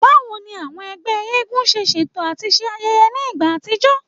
Bawo ni awọn ẹgbẹ eégún ṣe ṣeto ati ṣe ayẹyẹ ni igba atijọ?